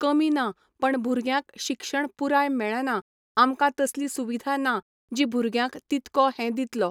कमी ना पण भुरग्यांक शिक्षण पुराय मेळना आमकां तसली सुविधा ना जी भुरग्यांक तितको हें दितलो